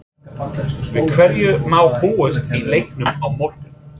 Við hverju má búast í leiknum á morgun?